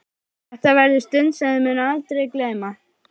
Þetta verður stund sem þau munu aldrei gleyma.